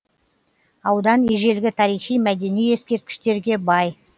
аудан ежелгі тарихи мәдени ескерткіштерге бай